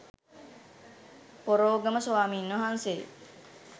පොරෝගම ස්වාමීන් වහන්සේ